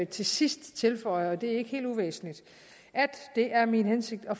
til sidst tilføje og det er ikke helt uvæsentligt at det er min hensigt at